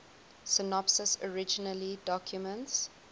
synopses originally documents